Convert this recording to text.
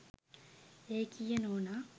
ඒකීය නෝනා